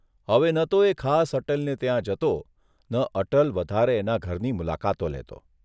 હવે ન તો એ ખાસ અટલને ત્યાં જતો ન અટલ વધારે એના ઘરની મુલાકાતો લેતો.